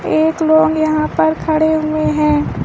एक लोग यहां पर खड़े हुए हैं।